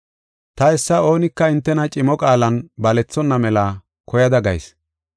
Ta hessa oonika hintena cimo qaalan balethonna mela koyada gayis.